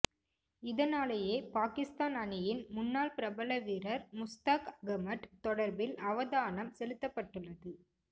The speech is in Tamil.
இதனாலேயே பாகிஸ்தான் அணியின் முன்னாள் பிரபல வீரர் முஸ்தாக் அகமட் தொடர்பில் அவதானம் செலுத்தப்பட்டுள்ளது